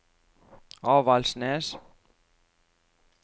Avaldsnes